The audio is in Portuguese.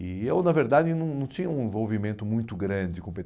E eu, na verdade, não não tinha um envolvimento muito grande com o pê